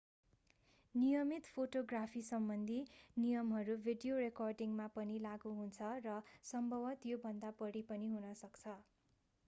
नियमित फोटोग्राफीसम्बन्धी नियमहरू भिडियो रेकर्डिङमा पनि लागू हुन्छ र सम्भवतः योभन्दा बढी पनि हुन सक्छ